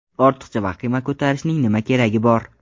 Ortiqcha vahima ko‘tarishning nima keragi bor?!